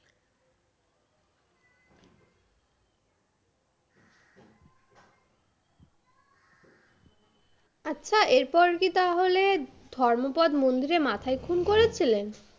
আচ্ছা এরপর কি তাহলে ধর্মোপদ মন্দিরের মাথায় খুন করেছিলেন?